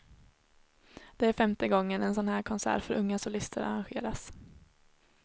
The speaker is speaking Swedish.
Det är femte gången en sådan här konsert för unga solister arrangeras.